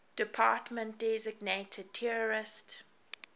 department designated terrorist